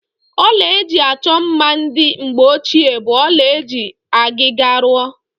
Ọla eji achọ mma ndị mgbeochie bụ ọla eji ọgịga rụọ.